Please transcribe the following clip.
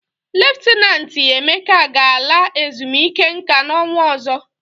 Leftanantị Emeka ga-ala ezumike nka n'ọnwa ọzọ.